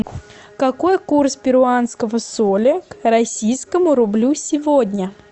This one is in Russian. какой курс перуанского соля к российскому рублю сегодня